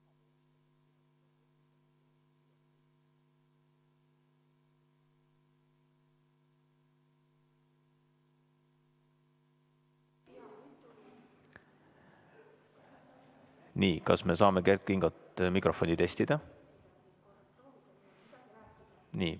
Nii, kas me saame Kert Kingo mikrofoni testida?